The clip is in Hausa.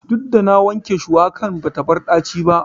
Duk da na wanke shuwakan bata bar ɗaci ba.